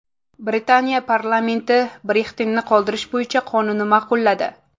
Britaniya parlamenti Brexit’ni qoldirish bo‘yicha qonunni ma’qulladi.